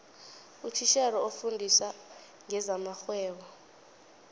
utitjhere ofundisa ngezamarhwebo